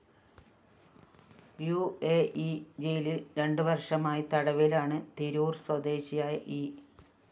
ഉ A E ജയിലില്‍ രണ്ട് വര്‍ഷമായി തടവിലാണ് തിരൂര്‍ സ്വദേശിയായ ഇ